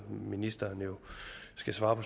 ministeren jo skal svare på